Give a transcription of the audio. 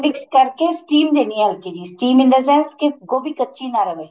mix ਕਰਕੇ steam ਦੇਣੀ ਏ ਹਲਕੀ ਜੀ steam in the sense ਕੀ ਗੋਭੀ ਕੱਚੀ ਨਾ ਰਵੇ